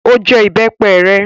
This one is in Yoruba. Ó jẹ ìbẹ́pẹ rẹ?